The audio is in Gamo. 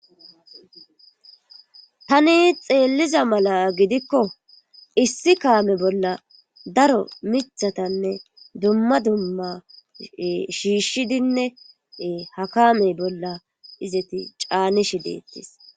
Tani xeelliza mala gidikko issi kaame bolla daro michatanne dumma dumma shiishshidinne ha kaame bolla izeti caanishi dettis.